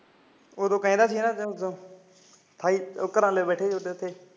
ਉਦੋਂ ਕਹਿੰਦਾ ਸੀ ਘਰੇ ਬੈਠੇ ਸੀ